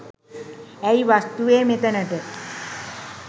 ඇයි වස්තුවේ මෙතනට